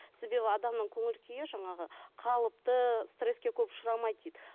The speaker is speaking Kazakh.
себебі адамның көңіл күйі жаңағы қалыпты стресске көп ұшырамайды дейді